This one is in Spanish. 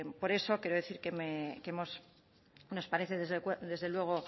por eso quiero decir que nos parece desde luego